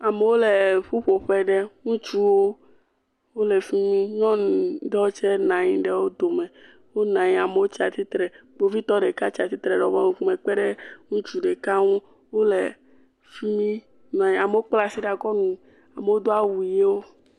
Amewo le ƒuƒoƒe aɖe ŋutsuwo wole fi mi nyɔnu ɖewo tse nɔ anyi ɖe wo dome, wonɔ anyi amewo tsi astitre kpovitɔ ɖeka tsi atsitre kpe ɖe ŋutsu ɖeka ŋu wole fi mi, amewo kpla asi ɖe akɔ nu, amewo do awu ʋewo.